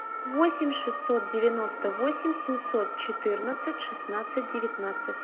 восемь шестьсот девяносто восемь семьсот четырнадцать шестнадцать девятнадцать